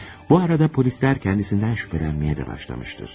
Bu arada polislər ondan şübhələnməyə də başlamışdır.